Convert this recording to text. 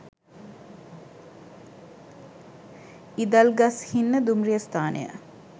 ඉදල්ගස්හින්න දුම්රිය ස්ථානය